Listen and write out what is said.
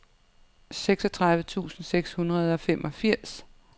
seksogtredive tusind seks hundrede og femogfirs